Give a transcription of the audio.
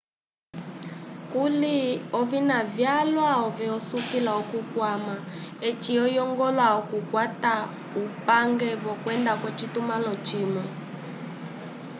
kuli ovina vyalwa ove osukila okukwama eci oyongola okukwata ungende wokwenda k'ocitumãlo cimwe